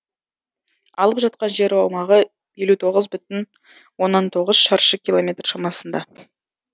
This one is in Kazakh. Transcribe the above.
алып жатқан жер аумағы елу иоғыз бүтін оннан тоғыз шаршы километр шамасында